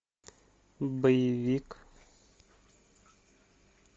боевик